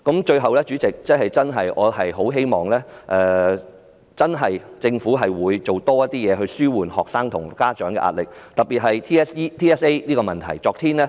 最後，主席，我真的很希望政府真的能多做工夫紓緩學生及家長的壓力，特別是 TSA 的問題。